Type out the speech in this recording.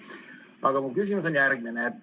Aga mu küsimus on järgmine.